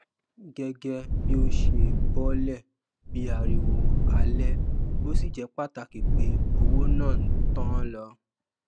gẹgẹ bí o ṣe bolè bí ariwo alè o sì jé pàtàkì pe owó náà n tán lọ